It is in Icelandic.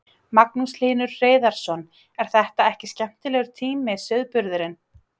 Magnús Hlynur Hreiðarsson: er þetta ekki skemmtilegur tími sauðburðurinn?